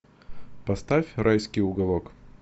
поставь райский уголок